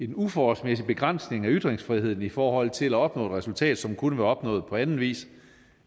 uforholdsmæssig begrænsning af ytringsfriheden i forhold til at opnå et resultat som kunne være opnået på anden vis